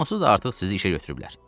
Onsuz da artıq sizi işə götürüblər.